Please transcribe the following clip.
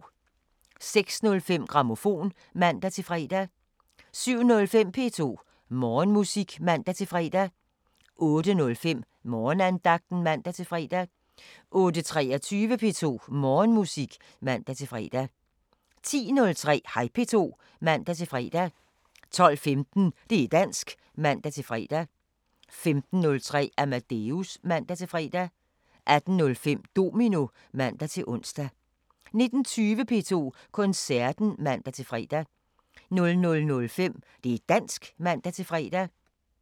06:05: Grammofon (man-fre) 07:05: P2 Morgenmusik (man-fre) 08:05: Morgenandagten (man-fre) 08:23: P2 Morgenmusik (man-fre) 10:03: Hej P2 (man-fre) 12:15: Det' dansk (man-fre) 15:03: Amadeus (man-fre) 18:05: Domino (man-ons) 19:20: P2 Koncerten (man-fre) 00:05: Det' dansk (man-fre)